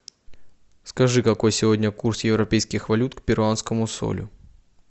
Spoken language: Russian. скажи какой сегодня курс европейских валют к перуанскому солю